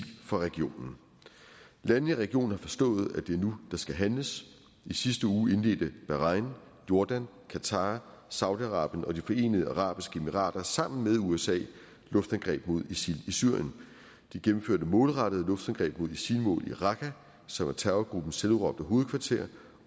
fra regionen landene i regionen har forstået at det er nu der skal handles i sidste uge indledte bahrain jordan qatar saudi arabien og de forenede arabiske emirater sammen med usa et luftangreb mod isil i syrien de gennemførte målrettede luftangreb mod isil mål i raqqa som er terrorgruppens selvudråbte hovedkvarter